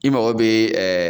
I mago bɛ